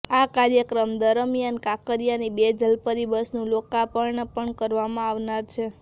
આ કાર્યક્રમ દરમિયાન કાંકરીયાની બે જલપરી બસનું લોકાર્પણ પણ કરવામાં આવનાર છે